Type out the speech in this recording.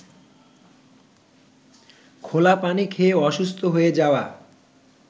খোলা পানি খেয়ে অসুস্থ হয়ে যাওয়া